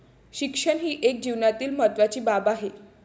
शिक्षण ही एक जीवनातील महत्वाची बाब आहे.